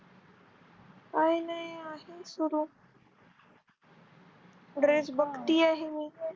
काही नाही आहे सुरू Dress बघती आहे मी.